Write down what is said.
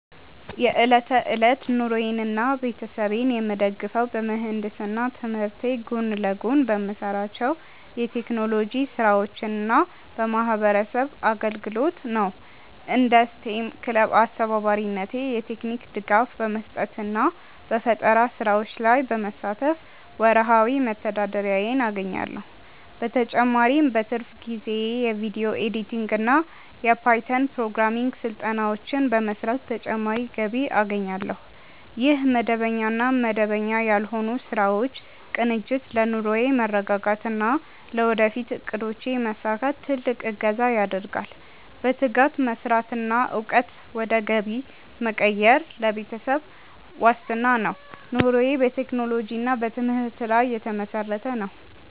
የዕለት ተዕለት ኑሮዬንና ቤተሰቤን የምደግፈው በምህንድስና ትምህርቴ ጎን ለጎን በምሰራቸው የቴክኖሎጂ ስራዎችና በማህበረሰብ አገልግሎት ነው። እንደ ስቴም ክለብ አስተባባሪነቴ የቴክኒክ ድጋፍ በመስጠትና በፈጠራ ስራዎች ላይ በመሳተፍ ወርሃዊ መተዳደሪያዬን አገኛለሁ። በተጨማሪም በትርፍ ጊዜዬ የቪዲዮ ኤዲቲንግና የፓይተን ፕሮግራሚንግ ስራዎችን በመስራት ተጨማሪ ገቢ አገኛለሁ። ይህ መደበኛና መደበኛ ያልሆኑ ስራዎች ቅንጅት ለኑሮዬ መረጋጋትና ለወደፊት እቅዶቼ መሳካት ትልቅ እገዛ ያደርጋል። በትጋት መስራትና እውቀትን ወደ ገቢ መቀየር ለቤተሰብ ዋስትና ነው። ኑሮዬ በቴክኖሎጂና በትምህርት ላይ የተመሰረተ ነው።